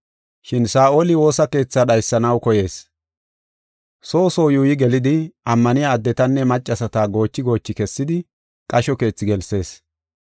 Shin Saa7oli woosa keetha dhaysanaw koyees. Soo soo yuuyi gelidi, ammaniya addetanne maccasata goochi goochi kessidi qasho keethi gelsees.